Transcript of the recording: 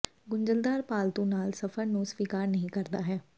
ਗੁੰਝਲਦਾਰ ਪਾਲਤੂ ਨਾਲ ਸਫ਼ਰ ਨੂੰ ਸਵੀਕਾਰ ਨਹੀ ਕਰਦਾ ਹੈ